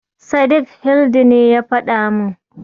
Sadik Hildi ne ya faɗa min.